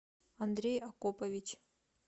андрей акопович